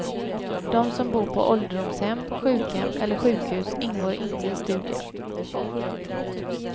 De som bor på ålderdomshem, sjukhem eller sjukhus ingår inte i studien.